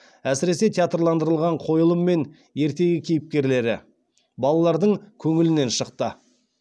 әсіресе театрландырылған қойылым мен ертегі кейіпкерлері балалардың көңілінен шықты